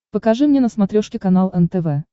покажи мне на смотрешке канал нтв